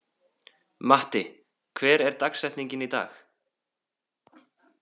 Matti, hver er dagsetningin í dag?